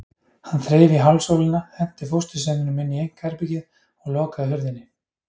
Hann þreif í hálsólina, henti fóstursyninum inn í einkaherbergið og lokaði hurðinni.